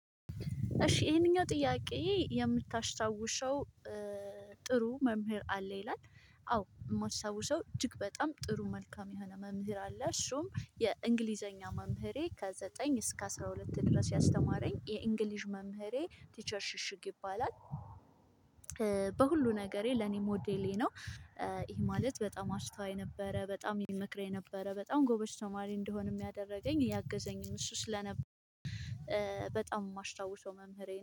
እሺ ይሄንኛው ጥያቄ የምታስታውሰው ጥሩ መምህር አለ ይላል? አዎ እማስታውሰው እጅግ በጣም ጥሩ መልካም የሆነ መምህር አለ እሱም የእንግሊዘኛ መምህሬ ከዘጠኝ እስከ አስራ ሁለት ድረስ ያስተማረኝ የእንግሊዝ መምህሬ ቲቸር ሽሽግ ይባላል። ነገሬ ለኔ ሞዴሌ ነው። ይሄ ማለት በጣም አስተዋይ ነበረ በጣም ይመክረኝ ነበረ በጣም ጎበዝ ተማሪ እንደሆንም ያደረገኝ ያገዘኝም እሱ ስለነበር። በጣም የማታውሰው መምህሬ